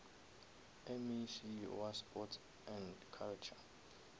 mec wa sports and culture